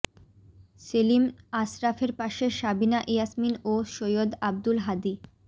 সেলিম আশরাফের পাশে সাবিনা ইয়াসমীন ও সৈয়দ আব্দুল হাদী